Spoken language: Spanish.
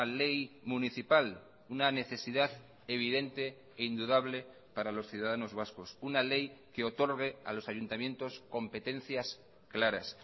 ley municipal una necesidad evidente e indudable para los ciudadanos vascos una ley que otorgue a los ayuntamientos competencias claras